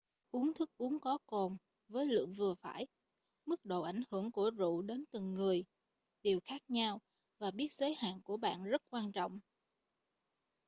uống thức uống có cồn với lượng vừa phải mức độ ảnh hưởng của rượu đến từng người đều khác nhau và biết giới hạn của bạn rất quan trọng